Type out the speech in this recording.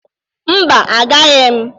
Mba, agaghi m.